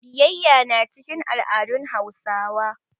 Biyayya na cikin al'adun Hausawa.